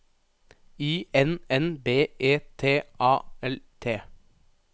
I N N B E T A L T